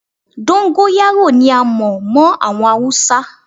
Dóńgóyárò ni a mọ̀ mọ́ àwọn Haúsá.